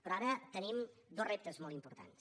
però ara tenim dos reptes molt importants